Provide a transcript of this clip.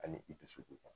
Ani i dusukun